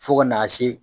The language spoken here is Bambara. Fo ka n'a se